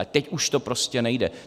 Ale teď už to prostě nejde.